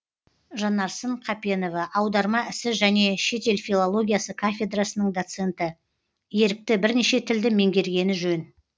жанарсын қапенова аударма ісі және шетел филологиясы кафедрасының доценті ерікті бірнеше тілді меңгергені жөн